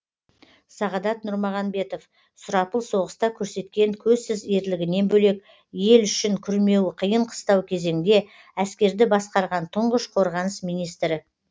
сағадат нұрмағанбетов сұрапыл соғыста көрсеткен көзсіз ерлігінен бөлек ел үшін күрмеуі қиын қыстау кезеңде әскерді басқарған тұңғыш қорғаныс министрі